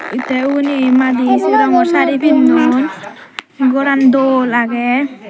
te uboni madi se rangor sari pinnon goran dol agey.